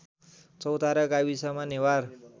चौतारा गाविसमा नेवार